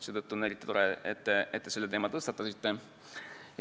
Seetõttu on eriti tore, et te selle teema tõstatasite.